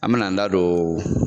An bɛn'an da don